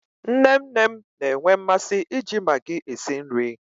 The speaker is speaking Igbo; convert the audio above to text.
Nne nne m na-enwe mmasị iji magii esi nri.